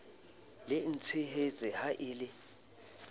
le ntshehetse ha e le